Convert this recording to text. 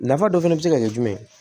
Nafa dɔ fɛnɛ be se ka kɛ jumɛn ye